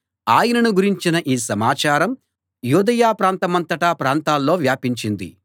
ఆయనను గురించిన ఈ సమాచారం యూదయ ప్రాంతమంతటా ప్రాంతాల్లో వ్యాపించింది